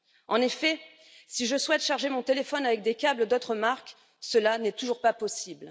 En effet, si je souhaite charger mon téléphone avec des câbles d'autres marques, cela n'est toujours pas possible.